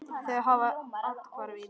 Þau hafa athvarf í risinu.